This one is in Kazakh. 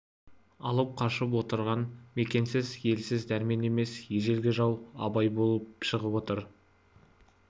алып қашып отырған мекенсіз елсіз дәрмен емес ежелгі жау абай болып шығып отыр